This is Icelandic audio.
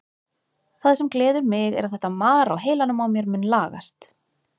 Það sem gleður mig er að þetta mar á heilanum á mér mun lagast.